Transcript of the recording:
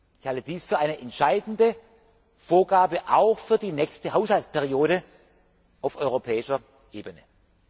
Ich halte dies für eine entscheidende Vorgabe auch für die nächste Haushaltsperiode auf europäischer